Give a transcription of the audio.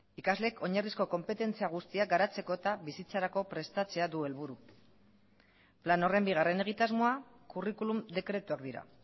ikasleek oinarrizko konpetentzia guztiak garatzeko eta bizitzarako prestatzea du helburu plan horren bigarren egitasmoa kurrikulum dekretuak dira